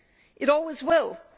is it always will